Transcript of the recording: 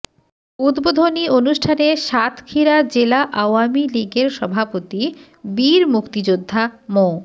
উদ্বোধনী অনুষ্ঠানে সাতক্ষীরা জেলা আওয়ামী লীগের সভাপতি বীর মুক্তিযোদ্ধা মো